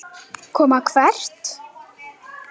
Koma hvert?